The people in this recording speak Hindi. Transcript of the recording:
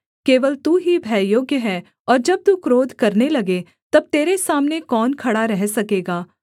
केवल तू ही भययोग्य है और जब तू क्रोध करने लगे तब तेरे सामने कौन खड़ा रह सकेगा